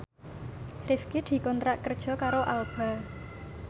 Rifqi dikontrak kerja karo Alba